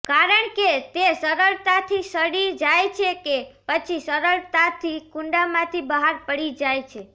કારણ કે તે સરળતાથી સડી જાય છે કે પછી સરળતાથી કુંડામાંથી બહાર પડી જાય છે